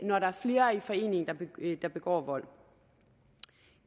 når der er flere i forening der begår vold